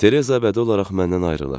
Tereza əbədi olaraq məndən ayrılır.